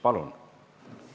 Palun!